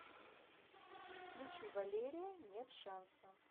включи валерия нет шанса